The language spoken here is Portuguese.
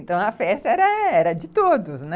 Então, a festa era era de todos, né?